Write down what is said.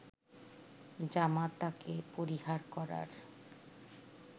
জামাতাকে পরিহার করার